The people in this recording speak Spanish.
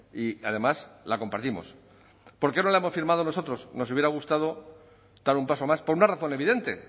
y además la compartimos por qué no la hemos firmado nosotros nos hubiera gustado dar un paso más por una razón evidente